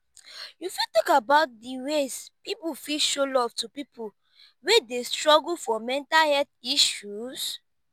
you fit talk about dey ways people fit show love to people wey dey struggle for mental health issues?